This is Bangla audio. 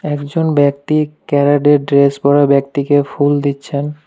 একজন ব্যক্তি ক্যারাটের ড্রেস পরা ব্যক্তিকে ফুল দিচ্ছেন।